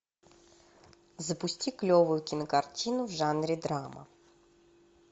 запусти клевую кинокартину в жанре драма